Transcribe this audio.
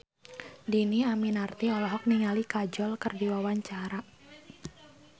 Dhini Aminarti olohok ningali Kajol keur diwawancara